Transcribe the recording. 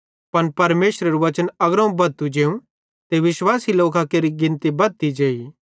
पन परमेशरेरू बच्चन अग्रोवं बद्धतू जेवं ते विश्वासी लोकां केरि गिनती बद्धती जेई